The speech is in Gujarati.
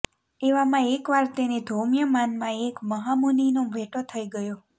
એવામાં એકવાર તેને ધૌમ્ય માનમા એક મહામુનિનો ભેટો થઇ ગયો